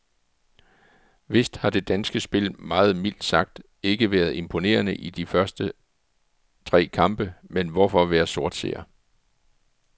Vist har det danske spil meget mildt sagt ikke været imponerende i de tre første kampe, men hvorfor være sortseer.